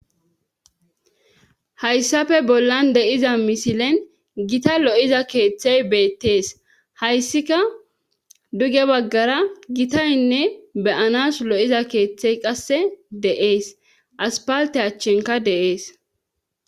hayssafe bollan de7iza misilen gita lo7iza keeththey beettees hayssika duge baggara gitaynne beyanas lo7iza keeththey qasse de7ees aspalte achchenka deees